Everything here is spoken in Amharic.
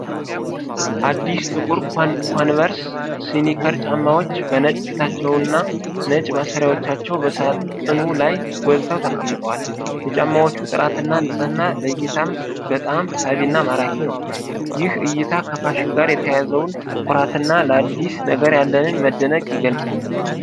አዲስ ጥቁር ኮንቨርስ ስኒከር ጫማዎች በነጭ ፊታቸው እና ነጭ ማሰሪያዎቻቸው በሳጥኑ ላይ ጎልተው ተቀምጠዋል። የጫማዎቹ ጥራትና ንጽህና ለእይታ በጣም ሳቢና ማራኪ ነው። ይህ እይታ ከፋሽን ጋር የተያያዘውን ኩራትና ለአዲስ ነገር ያለን መደነቅን ይገልጻል።